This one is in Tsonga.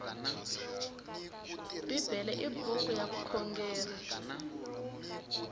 bibele i buku ya vukhongeri